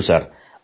ಹೌದು ಸರ್